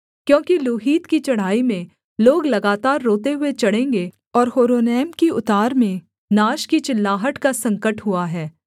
क्योंकि लूहीत की चढ़ाई में लोग लगातार रोते हुए चढ़ेंगे और होरोनैम की उतार में नाश की चिल्लाहट का संकट हुआ है